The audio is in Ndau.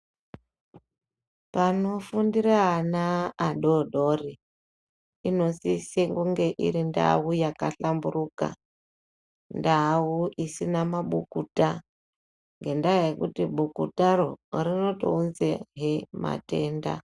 Panofundira ana adodori inosisa kunge iri ndau yakahlamburika ndau isina mabukuta ngenda yekuti bukutaro rinotounza he matenda.